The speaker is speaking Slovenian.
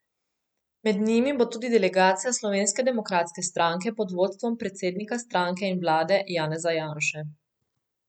Med njimi bo tudi delegacija Slovenske demokratske stranke pod vodstvom predsednika stranke in vlade Janeza Janše.